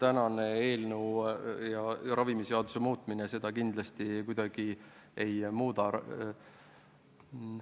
Tänane eelnõu ja ravimiseaduse muutmine seda olukorda kindlasti kuidagi ei muuda.